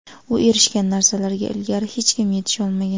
U erishgan narsalarga ilgari hech kim yetisha olmagan.